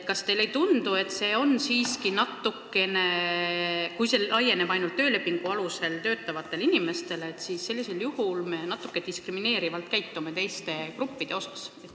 Kas teile ei tundu, et kui see kehtib ainult töölepingu alusel töötavate inimeste kohta, siis sellisel juhul me teisi gruppe natuke diskrimineerime?